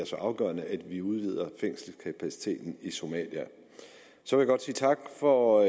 så afgørende at vi udvider fængselskapaciteten i somalia jeg vil godt sige tak for